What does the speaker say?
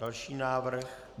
Další návrh.